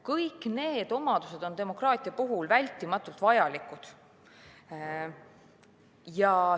Kõik need omadused on demokraatia puhul vältimatult vajalikud.